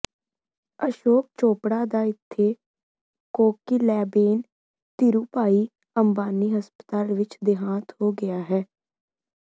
ਅਸ਼ੋਕ ਚੋਪੜਾ ਦਾ ਇਥੇ ਕੋਕਿਲਾਬੇਨ ਧੀਰੂਭਾਈ ਅੰਬਾਨੀ ਹਸਪਤਾਲ ਵਿਚ ਦੇਹਾਂਤ ਹੋ ਗਿਆ ਹੈ